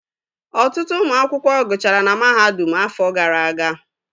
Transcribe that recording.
Ọtụtụ ụmụ akwụkwọ gụchara na mahadum afọ gara aga